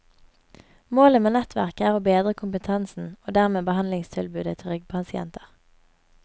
Målet med nettverket er å bedre kompetansen og dermed behandlingstilbudet til ryggpasienter.